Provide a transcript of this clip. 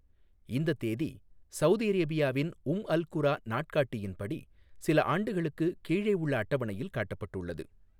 இந்தத் தேதி சவுதி அரேபியாவின் உம் அல் குரா நாட்காட்டியின்படி சில ஆண்டுகளுக்கு கீழே உள்ள அட்டவணையில் காட்டப்பட்டுள்ளது.